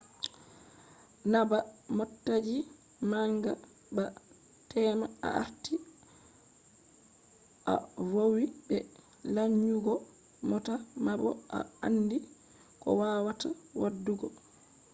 na ba motaji manga ba tema a arti a vowi be lanyugo mota ma bo a andi ko wawata wadugo